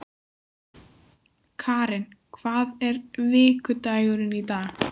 Karin, hvaða vikudagur er í dag?